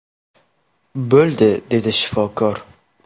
Bo‘ldi”, dedi shifokor.